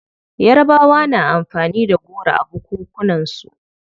Yarabawa na amfani da goro a bukukunan su.